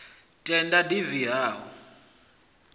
tenda a div ha o